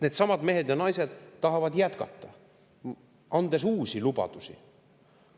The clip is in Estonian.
Needsamad mehed ja naised tahavad jätkata, andes uusi lubadusi.